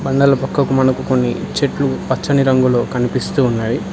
పక్కకు మునుక్కొని చెట్లు పచ్చని రంగులో కనిపిస్తున్నాయి.